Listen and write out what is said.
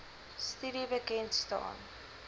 studie bekend staan